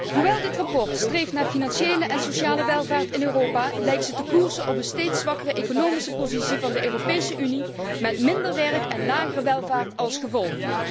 Hoewel dit verslag streeft naar financiële en sociale welvaart in Europa, lijkt het koers te zetten op een steeds zwakkere economische positie van de Europese Unie met minder werk en lagere welvaart als gevolg.